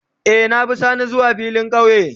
Eh, na bi sani zuwa filin kauye.